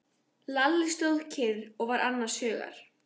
Lalli stóð kyrr og var annars hugar.